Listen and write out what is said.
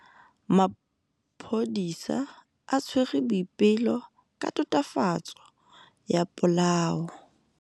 Maphodisa a tshwere Boipelo ka tatofatsô ya polaô.